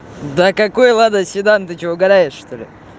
да какой лада седан ты что угараешь что ли